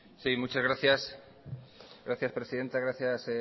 muchas gracias presidenta gracias